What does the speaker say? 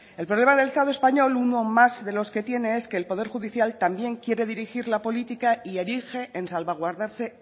el problema del estado español uno más de los que tiene es que el poder judicial también quiere dirigir la política y se erige